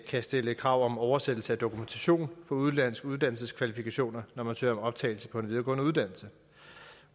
kan stille krav om oversættelse af dokumentation for udenlandske uddannelseskvalifikationer når man søger om optagelse på en videregående uddannelse